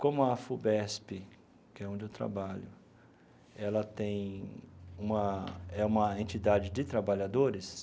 Como a Afubesp, que é onde eu trabalho, ela tem uma é uma entidade de trabalhadores,